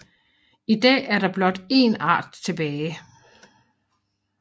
I dag er der blot én art tilbage